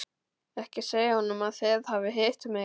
Ekki segja honum að þið hafið hitt mig.